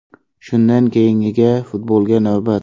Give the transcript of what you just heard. Shundan keyingiga futbolga navbat.